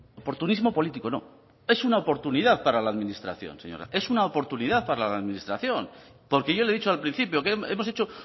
oportunismo político no es una oportunidad para la administración es una oportunidad para la administración porque yo le he dicho al principio que hemos hecho